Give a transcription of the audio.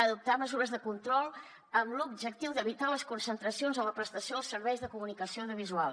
adoptar mesures de control amb l’objectiu d’evitar les concentracions en la prestació dels serveis de comunicació audiovisual